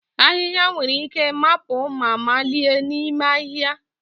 Ahịhịa nwere ike mapụ ma malie n'ime ahịhịa